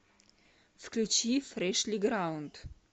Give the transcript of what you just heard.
включи фрешлиграунд